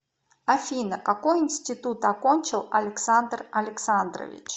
афина какой интситут окончил александр александрович